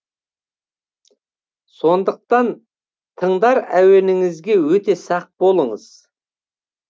сондықтан тыңдар әуеніңізге өте сақ болыңыз